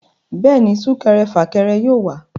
Bẹ́ẹ̀ni, súnkẹrẹ fàkẹrẹ yóò wà